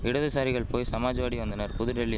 இடதுசாரிகள் போய் சமாஜ்வாடி வந்தனர் புதுடில்லி